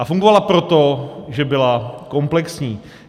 A fungovala proto, že byla komplexní.